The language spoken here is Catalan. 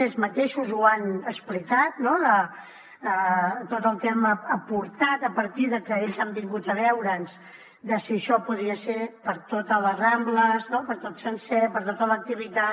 ells mateixos ho han explicat no tot el que hem aportat a partir de que ells han vingut a veure’ns de si això podria ser per a totes les rambles per a tot sencer per a tota l’activitat